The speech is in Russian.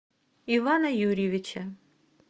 ивана юрьевича